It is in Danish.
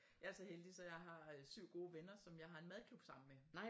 Jeg er så heldig så jeg har øh 7 gode venner som jeg har en madklub sammen med